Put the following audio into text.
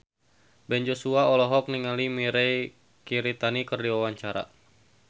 Ben Joshua olohok ningali Mirei Kiritani keur diwawancara